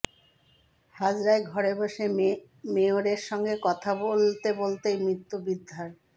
হাজরায় ঘরে বসে মেয়রের সঙ্গে কথা বলতে বলতেই মৃত্যু বৃদ্ধার